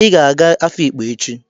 Ị ga-aga Afikpo echi!